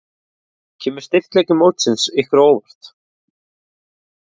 Kemur styrkleiki mótsins ykkur á óvart?